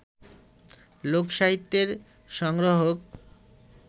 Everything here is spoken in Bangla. লোক-সাহিত্যের সংগ্রাহক